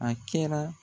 A kɛra